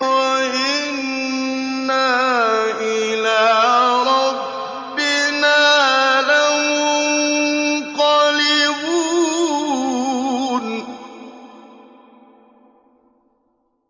وَإِنَّا إِلَىٰ رَبِّنَا لَمُنقَلِبُونَ